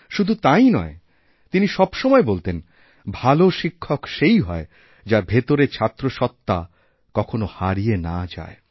শুধু তাই নয় তিনি সবসময়বলতেন ভাল শিক্ষক সেই হয় যার ভেতরের ছাত্রসত্ত্বা কখনও হারিয়ে না যায়